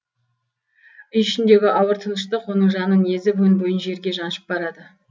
үй ішіндегі ауыр тыныштық оның жанын езіп өн бойын жерге жаншып барады